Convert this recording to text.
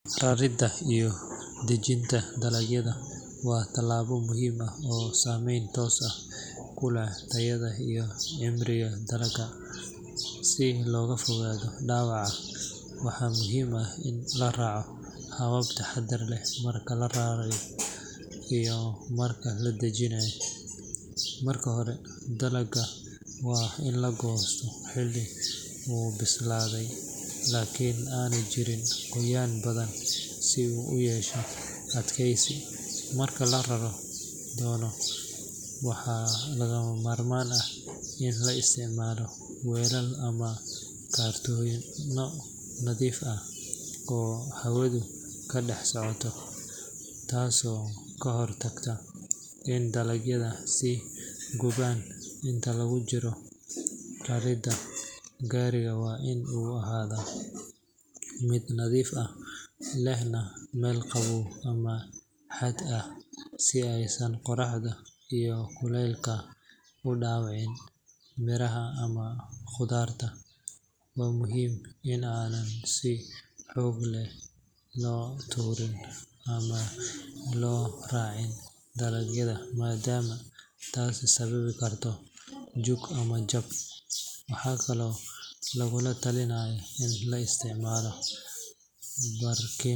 Raridda iyo dajinta dalagyada waa tallaabo muhiim ah oo saameyn toos ah ku leh tayada iyo cimriga dalagga. Si looga fogaado dhaawaca, waxaa muhiim ah in la raaco habab taxadar leh marka la rarayo iyo marka la dajinayo. Marka hore, dalagga waa in la goostaa xilli uu bislaaday laakiin aanay jirin qoyaan badan si uu u yeesho adkeysi. Marka la rari doono, waxaa lagama maarmaan ah in la isticmaalo weelal ama kartoonno nadiif ah oo hawadu ka dhex socoto, taasoo ka hortagta in dalagyadu is gubaan. Inta lagu jiro raridda, gaariga waa in uu ahaadaa mid nadiif ah, lehna meel qabow ama hadh ah si aysan qorraxda iyo kuleylka u dhaawicin miraha ama qudaarta. Waa muhiim in aanan si xoog leh loo tuurin ama loo is raacin dalagyada, maadaama taasi sababi karto jug ama jab. Waxaa kaloo lagula talinayaa in la isticmaalo barkim.